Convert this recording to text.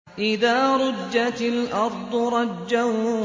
إِذَا رُجَّتِ الْأَرْضُ رَجًّا